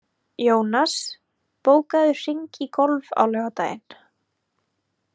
Jónas, bókaðu hring í golf á laugardaginn.